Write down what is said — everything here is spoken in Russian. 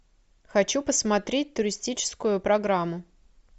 хочу посмотреть туристическую программу